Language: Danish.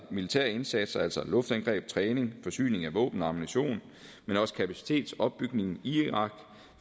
militære indsatser altså luftangreb træning forsyning af våben og ammunition men også kapacitetsopbygning i irak